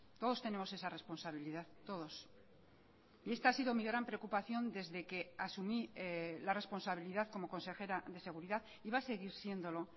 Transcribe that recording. todos tenemos esa responsabilidad todos y esta ha sido mi gran preocupación desde que asumí la responsabilidad como consejera de seguridad y va a seguir siéndolo